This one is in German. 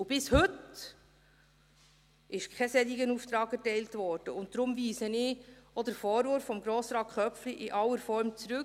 Bis heute wurde jedoch kein solcher Auftrag erteilt, und deshalb weise ich auch den Vorwurf von Grossrat Köpfli in aller Form zurück;